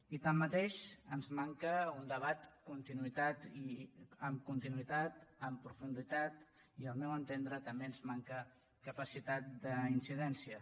i tanmateix ens manca un debat amb continuïtat amb profunditat i al meu entendre també ens manca capacitat d’incidència